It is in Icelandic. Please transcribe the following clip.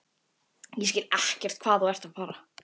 Ég skil ekkert hvað þú ert að fara.